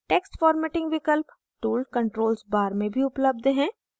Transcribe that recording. text formatting विकल्प tool controls bar में भी उपलब्ध हैं